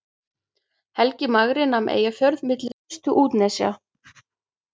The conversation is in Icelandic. Helgi magri nam Eyjafjörð milli ystu útnesja.